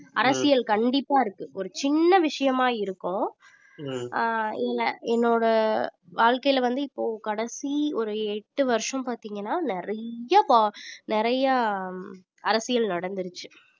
அரசியல் கண்டிப்பா இருக்கும் ஒரு சின்ன விஷயமா இருக்கும் இல்ல என்னோட வாழ்க்கைல வந்து இப்போ கடைசி ஒரு எட்டு வருஷம் பாத்தீங்கன்னா நிறைய ப~ நிறைய அரசியல் நடந்துருச்சு